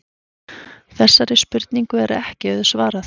Þessari spurningu er ekki auðsvarað.